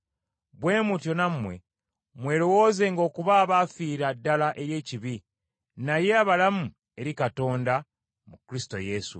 Bwe mutyo nammwe mwerowoozenga okuba abaafiira ddala eri ekibi, naye abalamu eri Katonda mu Kristo Yesu.